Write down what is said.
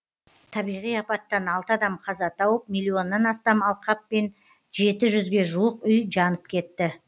табиғи апаттан алты адам қаза тауып миллионнан астам алқап пен жеті жүзге жуық үй жанып кетті